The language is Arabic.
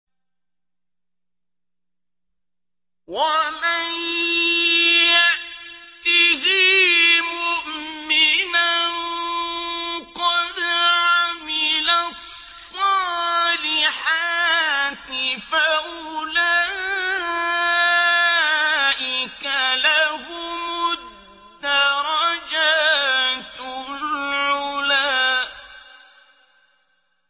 وَمَن يَأْتِهِ مُؤْمِنًا قَدْ عَمِلَ الصَّالِحَاتِ فَأُولَٰئِكَ لَهُمُ الدَّرَجَاتُ الْعُلَىٰ